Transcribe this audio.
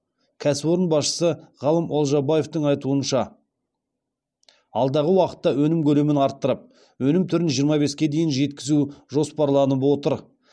кәсіпорын басшысы ғалым олжабаевтың айтуынша алдағы уақытта өнім көлемін арттырып өнім түрін жиырма беске дейін жеткізу жоспарланып отыр